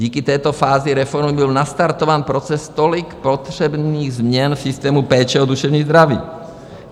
Díky této fázi reformy byl nastartován proces tolik potřebných změn v systému péče o duševní zdraví.